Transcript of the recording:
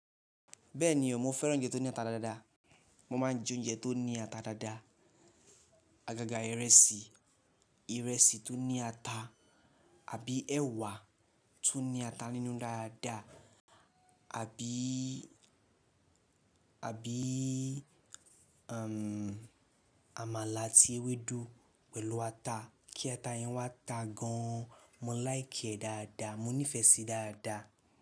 Bẹ́ẹ̀ni o, mo fẹ́ràn oúnjẹ tó ní ata dáadáa. Mo máa ń jẹ oúnjẹ tó ní ata dáadáa, àgàgà ìrẹsì, ìrẹsì tó ní ata àbí ẹ̀wà tó ní ata nínú dáadáa àbí, àbí, àmàlà àti ewédú pẹ̀lú ata. Kí ata yẹn wá ta gan. Mo liké e dáadáa, mo nífẹ̀ẹ́ síi dáadáa.